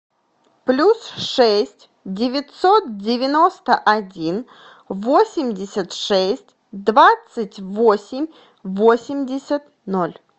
плюс шесть девятьсот девяносто один восемьдесят шесть двадцать восемь восемьдесят ноль